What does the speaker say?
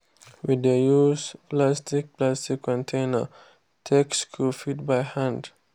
we dey use plastic plastic container take scoop feed by hand.